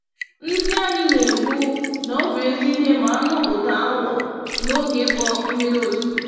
Ndị anyị na-ekwu, nọbụ ezi ìhè, ma anụ ụda awọ n'oge ịkpọ mmiri ozuzo